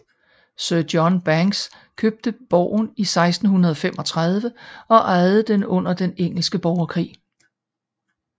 Sir John Bankes købte borgen i 1635 og ejede den under den engelske borgerkrig